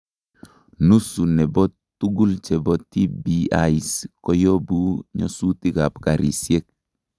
Nusu nebo tugul chebo TBIs koyobu nyosutik ab karisiek